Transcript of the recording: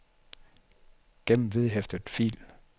gem vedhæftet fil